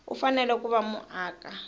u fanele ku va muaka